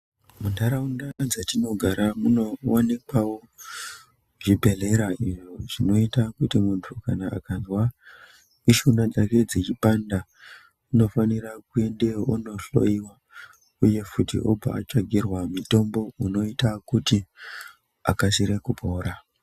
Muntaraunda dzatinogara munowanikwawo zvibhedhlera izvo zvinoita kuti muntu kana akanzwa mishuna dzake dzichipanda, unofanira kuendeyo ondohloyiwa uye futi obva atsvagirwa mutombo uyo unoita kuti akasire kupora.